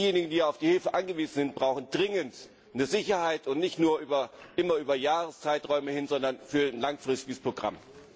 Diejenigen, die auf die Hilfe angewiesen sind, brauchen dringend eine Sicherheit und nicht nur immer über Jahreszeiträume hinweg, sondern für ein langfristiges Programm.